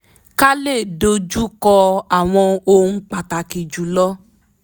ká lè dojú kọ́ àwọn ohun pàtàkì jùlọ